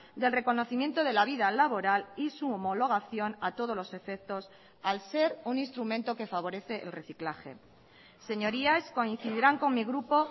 del reconocimiento de la vida laboral y su homologación a todos los efectos al ser un instrumento que favorece el reciclaje señorías coincidirán con mi grupo